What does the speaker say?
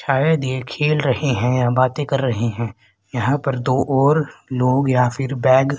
शायद ये खेल रहे हैं या बाते कर रहे हैं। यहां पर दो और लोग या फिर बैग --